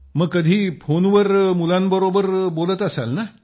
मग कधी फोनवर मुलांबरोबर बोलत असणार ना